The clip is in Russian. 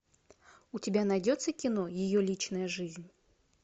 у тебя найдется кино ее личная жизнь